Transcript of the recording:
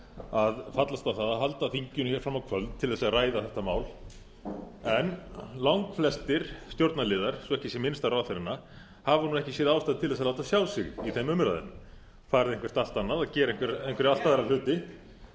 að fallast á að halda þinginu fram á kvöld til að ræða þetta mál en langflestir stjórnarliðar svo ekki sé minnst á ráðherrana hafa ekki séð ástæðu til að láta sjá sig í þeim umræðum farið eitthvað allt annað að gera einhverja allt aðra hluti hér